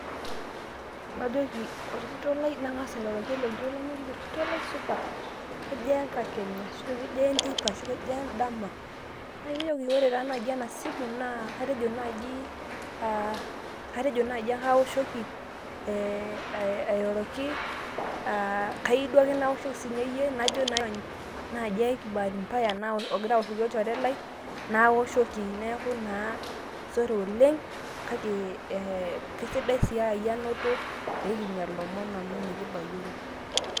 Kajoki ,orkitok lai nangasa airoroki ilokitok lai najoki orkitok lai supa? kejaa enkakenya arashu kejaa enteipa arashu kejaa endama? najoki ore naji enasimu naa atejo najii aa atejo naji aoshoki ee airoroki aa kayiu duo ake naoshoki sinyeyie najo nai openy najo bahati mbaya olchore lai naoshoki neaku naa sore oleng kake ee kesidai sii aa iyie ainoto pekinya lomon amu mekibayioro .